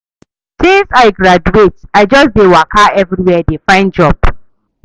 Since I graduate, I just dey waka everywhere dey find job.